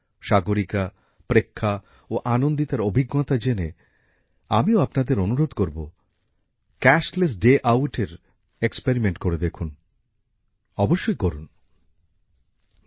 সাগরিকা প্রেক্ষা ও আনন্দিতার অভিজ্ঞতা জেনে আমিও আপনাদের অনুরোধ করব নগদবিহীন একটি লেনদেনের দিন কাটান এ ধরণের একটি অভিজ্ঞতা ভেবে দেখুন